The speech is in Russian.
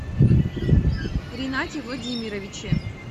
ринате владимировиче